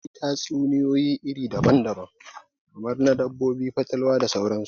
Akwai tatsuniyoyi iri daban daban, kamar na dabbobi, fatalwa da sauran su